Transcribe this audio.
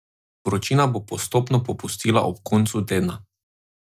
Vročina bo postopno popustila ob koncu tedna.